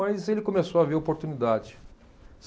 Mas ele começou a ver oportunidade.